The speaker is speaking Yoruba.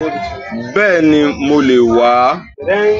Bẹ́ẹ̀ni mo le è wà á